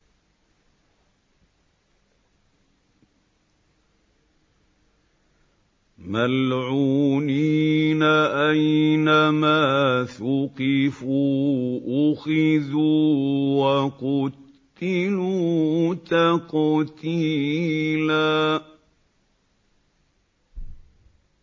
مَّلْعُونِينَ ۖ أَيْنَمَا ثُقِفُوا أُخِذُوا وَقُتِّلُوا تَقْتِيلًا